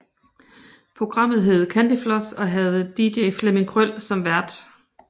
Programmet hed Candyfloss og havde DJ Flemming Krøll som vært